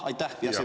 Aitäh!